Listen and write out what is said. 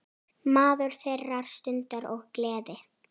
Maður þeirrar stundar og gleði.